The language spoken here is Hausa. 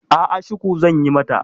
A'a, shuku zan yi mata.